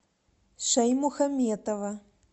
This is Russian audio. шаймухаметова